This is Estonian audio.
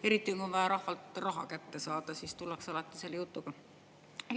Eriti kui rahvalt on vaja raha kätte saada, siis tullakse selle jutuga.